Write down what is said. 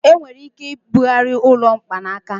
Enwere ike ibugharị ụlọ mkpanaka.